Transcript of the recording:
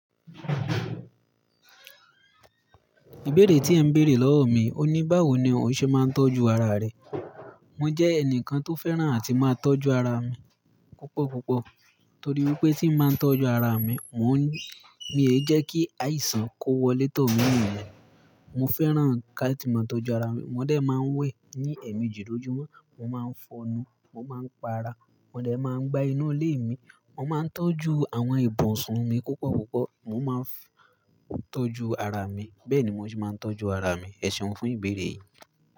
Ìbéèrè tí ẹ ń bèèrè lọ́wọ́ mi, o ní báwo ni ó ṣe máa ń tọ́jú ara rẹ? Mo jẹ́ ẹnìkan tó fẹ́ràn àti máa tọ́jú ara mi púpọ̀ púpọ̀. Nítorí wípé tí máa ń tọ́jú ara mi, mò ń, mí è jẹ́ kí àìsàn kó wọlé tó mi nìyen. Mo fẹ́ràn kí a sì máa tọ́jú ara mi. Mo de máa ń wẹ̀ ní ẹ̀mi jìí lójúmọ́, mo máa ń fọnu, mo máa ń pa ara, mo de máa ń gbá inú ilé mi, mo máa ń tọ́jú àwọn ibùsùn mi púpọ̀ púpọ̀, mo máa ń tọ́jú ara mi. Bẹ́ẹ̀ ni mo ṣe máa ń tọ́jú ara mi. Ẹ̀ṣeun fún ìbéèrè yìí.